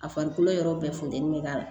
A farikolo yɔrɔ bɛɛ funteni bɛ k'a la